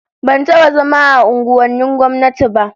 Ban taba zama a unguwannin gwamnati ba